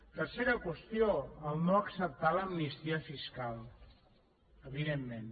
tercera qüestió no acceptar l’amnistia fiscal evidentment